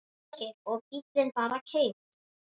Ásgeir: Og bíllinn bara keyrir?